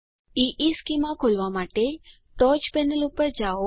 ઇશ્ચેમાં ખોલવા માટે ટોચ પેનલ પર જાઓ